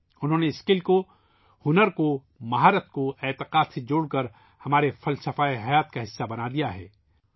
انہوں نے مہارت کو ، ہنر کو ، اہلیت کو عقیدت سے جوڑ کر ہماری زندگی کا حصہ بنا دیا ہے